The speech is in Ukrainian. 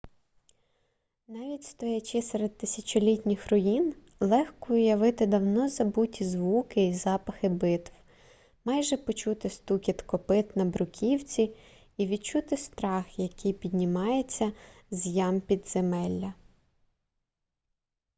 навіть стоячи серед тисячолітніх руїн легко уявити давно забуті звуки і запахи битв майже почути стукіт копит на бруківці і відчути страх який піднімається з ям підземелля